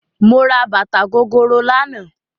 Mo ra bàtà gogoro lánàá